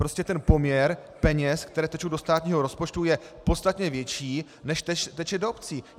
Prostě ten poměr peněz, které tečou do státního rozpočtu, je podstatně větší, než teče do obcí.